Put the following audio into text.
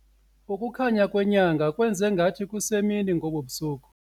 Ukukhanya kwenyanga kwenze ngathi kusemini ngobu busuku.